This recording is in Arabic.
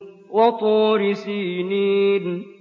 وَطُورِ سِينِينَ